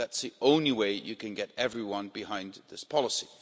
That's the only way you can get everyone behind this policy.